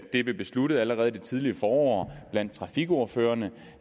det blev besluttet allerede i det tidligere forår blandt trafikordførerne